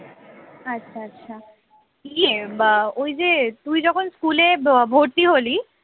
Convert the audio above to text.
আচ্ছা আচ্ছা কি এ বা ওই যে তুই যখন স্কুলে ভর্তি হলি